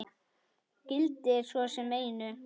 Gildir svo sem einu.